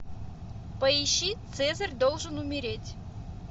поищи цезарь должен умереть